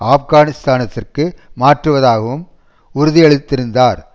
ஆப்கானிஸ்தானதிற்கு மாற்றுவதாகவும் உறுதியளித்திருந்தார்